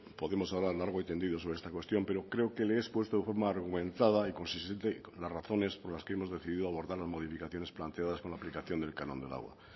podemos hablar largo y tendido sobre esta cuestión pero creo que le he expuesto de forma argumentada y consistente las razones por las que hemos decidido abordar las modificaciones planteadas con la aplicación del canon del agua